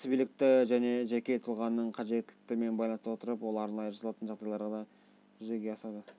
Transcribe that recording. кәсібилікті жеке тұлғаның қажеттіліктерімен байланыстыра отырып ол арнайы жасалатын жағдайларда жүзеге асады